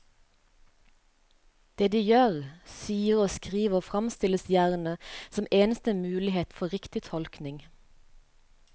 Det de gjør, sier og skriver fremstilles gjerne som eneste mulighet for riktig tolkning.